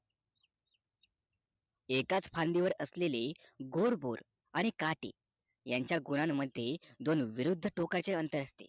एकाच फांदीवर असलेले गोड बोर आणि काटे यांचा गुणांन मध्ये दोन विरुद्ध टोकाचे अंतर असते